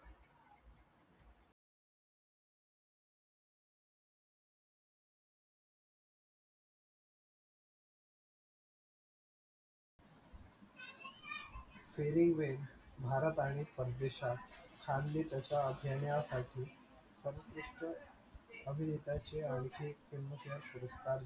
farywell Bharat आणि परदेशात घेण्यासाठी उत्कृष्ट अभिनेत्याचे आणखी एक film fair पुरस्कार